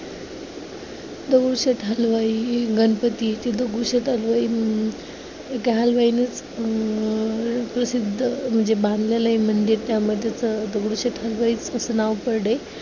दगडूशेठ हलवाई गणपती ते दगडूशेठ हलवाई म्हणून अं प्रसिद्ध म्हणजे बांधलेलं आहे मंदिर त्यामध्ये असं दगडूशेठ हलवाई असे नाव पडले.